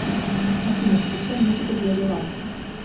афина включай музыку для релакса